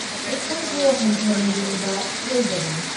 ꯑꯩꯈꯣꯏꯕꯨ ꯍꯟꯊꯅ ꯌꯦꯡꯕ ꯁꯣꯏꯗꯕꯅꯤ ꯫